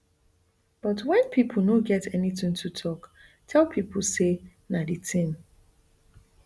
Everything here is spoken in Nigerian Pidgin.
but wen pipo no get anytin to take tell pipo say na di tin